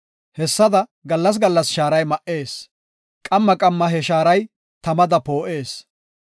Hessada gallas gallas shaaray ma77ees; qamma qamma he shaaray tamada poo7ees.